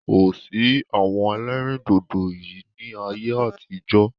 Kòsí àwọn ẹlẹ́rìndòdò yìí ni ayé àtijọ́